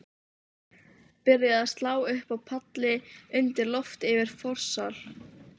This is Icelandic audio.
Byrjað að slá upp palli undir loft yfir forsal.